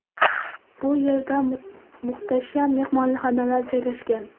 Bu yerda muhtasham mehmonxonalar joylashgan.